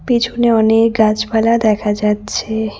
পেছনে অনেক গাছপালা দেখা যাচ্ছে।